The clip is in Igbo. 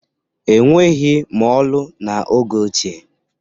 E nweghi mọọlụ n'oge ochie.